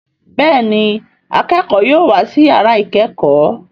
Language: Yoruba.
Béèni akẹkọ yóò wá sí yàrá ikẹkọ.